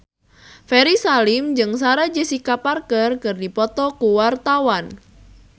Ferry Salim jeung Sarah Jessica Parker keur dipoto ku wartawan